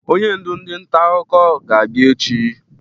Onye ndụ ndị nta akụko ga-abịa echi.